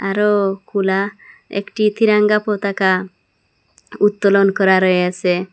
আরও খোলা একটি তিরঙ্গা পতাকা উত্তোলন করা রয়েসে।